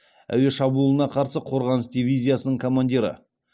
әуе шабуылына қарсы қорғаныс дивизиясының командирі